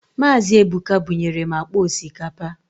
Mazi Ebuka bunyere m akpa osikapa